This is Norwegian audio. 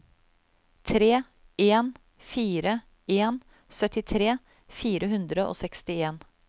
tre en fire en syttitre fire hundre og sekstien